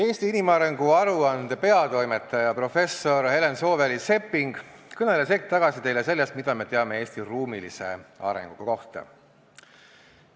Eesti inimarengu aruande peatoimetaja professor Helen Sooväli-Sepping kõneles hetk tagasi teile sellest, mida me teame Eesti ruumilise arengu kohta.